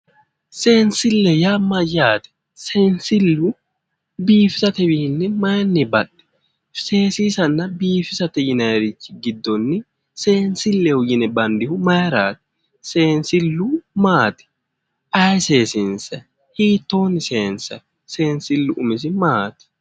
Seensille yaa mayyaate? seensillu biifisatewiinni maayiinni baxxi? seesiisanna biifisate yinaayiirichi giddonni seensilleho yine bandihu maayiiraati? seensillu maati? ayee seesinsayi, hiittoonni seesiinsayi seensillu umisi maati?